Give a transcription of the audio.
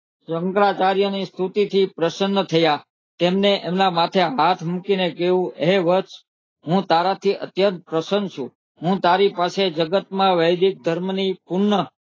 શંકરાચાર્ય ની સ્તુતિ થી પ્રસના થયા તેમના માથે હાથ મૂકે ને કીધું હે વત્સ હું તારા થી અત્યંત પ્રશ્ર્ન છું હું તારી પાસે જગત માં વૈદિક ધર્મ ની પૂર્ણ